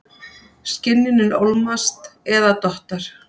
Skynjunin ólmast eða dottar.